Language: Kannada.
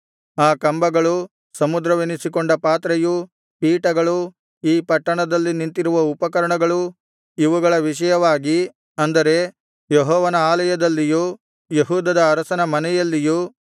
ಆ ಕಂಬಗಳು ಸಮುದ್ರವೆನಿಸಿಕೊಂಡ ಪಾತ್ರೆಯು ಪೀಠಗಳು ಈ ಪಟ್ಟಣದಲ್ಲಿ ನಿಂತಿರುವ ಉಪಕರಣಗಳು ಇವುಗಳ ವಿಷಯವಾಗಿ ಅಂದರೆ ಯೆಹೋವನ ಆಲಯದಲ್ಲಿಯೂ ಯೆಹೂದದ ಅರಸನ ಮನೆಯಲ್ಲಿಯೂ